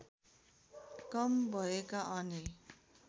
कम भएका अनि